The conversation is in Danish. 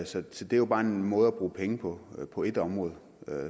så det det er jo bare en måde at bruge penge på på et område